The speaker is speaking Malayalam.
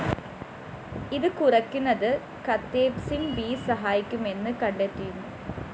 ഇത് കുറയ്ക്കുന്നത് കതെപ്‌സിന്‍ ബി സഹായിക്കുമെന്ന് കണ്ടെത്തിയിരുന്നു